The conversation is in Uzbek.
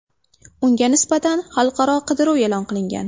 Unga nisbatan xalqaro qidiruv e’lon qilingan .